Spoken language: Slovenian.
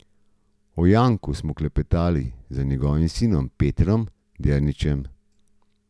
O Janku smo klepetali z njegovim sinom Petrom Derničem.